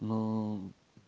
ну